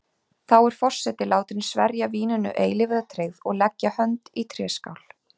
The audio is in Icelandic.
Þá er forseti látin sverja víninu eilífa tryggð og leggja hönd í tréskál.